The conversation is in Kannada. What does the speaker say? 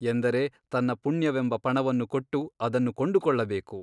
ಎಂದರೆ ತನ್ನ ಪುಣ್ಯವೆಂಬ ಪಣವನ್ನು ಕೊಟ್ಟು ಅದನ್ನು ಕೊಂಡುಕೊಳ್ಳಬೇಕು.